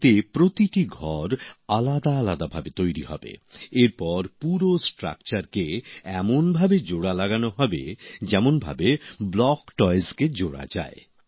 এতে প্রতিটি ঘর আলাদা ভাবে তৈরি হবে এরপর পুরো কাঠামোকে এমন ভাবে জোড়া লাগানো হবে যেমনভাবে ব্লক টয়কে জোড়া যায়